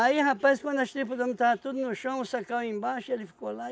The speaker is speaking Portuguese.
rapaz, quando as tripas do homem estava tudo no chão, o sacão ia embaixo e ele ficou lá